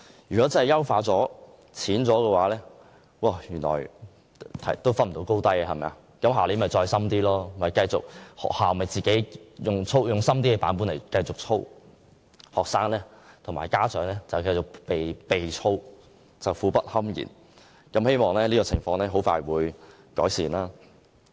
如出題較淺未能將學生分出高低，明年又會加深題目，學校則會繼續以較深的版本操練學生，令學生和家長苦不堪言，希望這種情況很快會有改善。